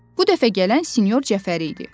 Bu dəfə gələn sinyor Cəfəri idi.